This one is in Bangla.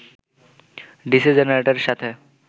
ডিসি জেনারেটরের সাথে